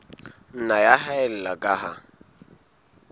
nna ya haella ka ha